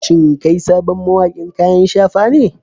Shin kai sabon mawaƙin kayan shafa ne?